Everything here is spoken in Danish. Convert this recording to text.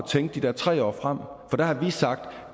tænke de der tre år frem for der har vi sagt